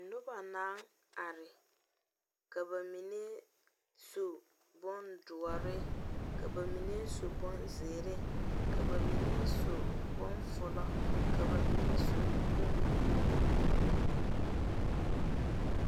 Noba naŋ are ka ba mine su bondoɔre ka ba mine su bonzeɛre., ka ba mine su bondoɔre ka ba mine su bonbuluu.